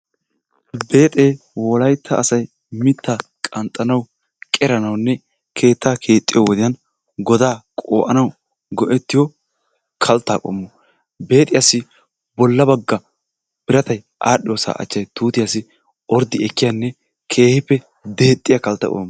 Beexee wollaytta asay mittaa qanxxanawu qeranawunne keettaa keexxiyoo wodiyaan godaa qo"anaw goo"ettiyoo kalttaa qoommo. Beexxiyaassi bolla baagga biiratay adhdhoosaa achchay tuutiyaassi orddi ekkiyaanne keehippe deexxiyaa kalttaa qoommo.